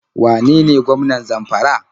Wane ne gwamnan Zamfara?